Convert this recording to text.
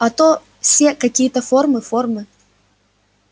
а то все какие-то формы формы